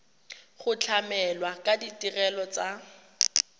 go tlamela ka ditirelo tsa